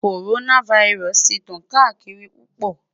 Coronavirus ti n tan kaakiri pupọ